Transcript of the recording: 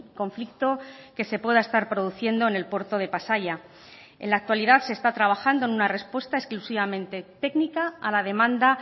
conflicto que se pueda estar produciendo en el puerto de pasaia en la actualidad se está trabajando en una respuesta exclusivamente técnica a la demanda